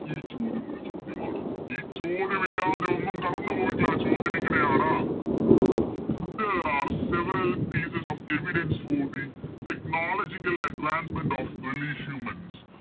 ഈ ചോദ്യമൊരു ചോദ്യമാണ് ഈ ചോദ്യമില്ലാതെ ഒന്നും കടന്നുപോയിട്ടില്ല ചോദ്യം ഇങ്ങനെയാണ് There are several pieces of evidence who the technological advancement of early humans